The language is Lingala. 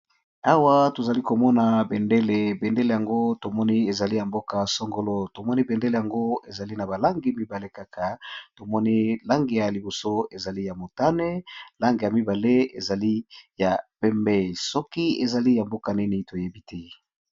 awa tozali komona bendele bendele yango tomoni ezali ya mboka songolo tomoni bendele yango ezali na balangi mibale kaka tomoni langi ya liboso ezali ya motane langi ya mibale ezali ya pembei soki ezali ya mboka nini toyebi te.